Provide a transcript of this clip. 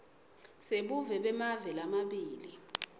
sebuve bemave lamabili